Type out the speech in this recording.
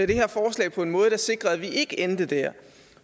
det her forslag på en måde der sikrede at vi ikke endte der